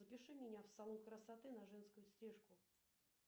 запиши меня в салон красоты на женскую стрижку